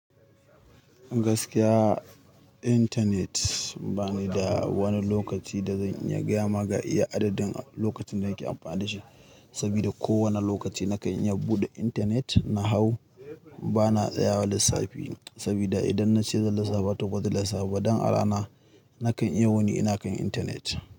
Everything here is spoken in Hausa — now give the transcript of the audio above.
Gaskiya, intanet ba ni da wani lokaci da zan iya gama ga iya adadin lokacin da nake amfani da shi. Saboda ko wane lokaci na kan iya buɗe intanet na hau, bana tsayawa lissafi. Saboda idan na ce zan lissafa toh ba zan lissafa ba, don a rana na kan iya wuni ina kan intanet.